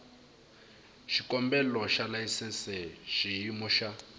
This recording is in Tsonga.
xikombelo xa layisense xiyimo xa